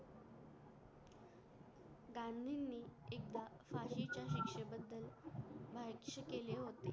गांधी नि एकदा च्या शिकशे बदल केले होते